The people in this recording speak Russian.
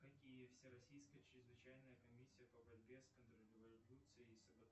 какие всероссийская чрезвычайная комиссия по борьбе с контрреволюцией